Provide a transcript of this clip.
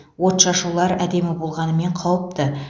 отшашулар әдемі болғанымен қауіпті